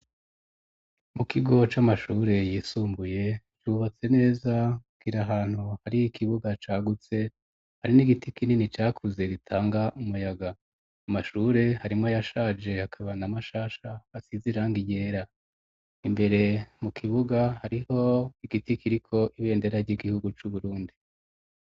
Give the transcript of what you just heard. mu kigo c'amashure yisumbuye cubatse neza kiri ahantu hari ikibuga cagutse hari n'igiti kinini cakuze gitanga umuyaga, amashure harimwo ayashaje hakaba n,amashasha asize irangi ryera, imbere mu kibuga hariho igiti kiriko ibendera ry'igihugu c'uburundi.